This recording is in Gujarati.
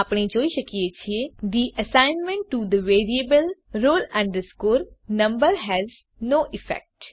આપણે જોઈ શકીએ છીએ the assignment to the variable roll number has no effect